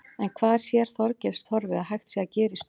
En hvað sér Þorgils Torfi að hægt sé að gera í stöðunni?